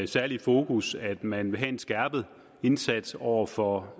særlige fokus at man vil have en skærpet indsats over for